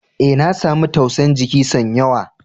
E,na samu tausa'n jiki son yawa.